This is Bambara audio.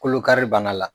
Kolokari bana la